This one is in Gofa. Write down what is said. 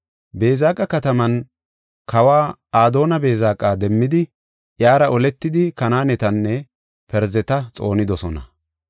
Beezeqa kataman kawa Adooni-Beezeqa demmidi, iyara oletidi Kanaanetanne Parzeta xoonidosona.